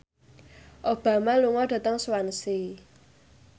Obama lunga dhateng Swansea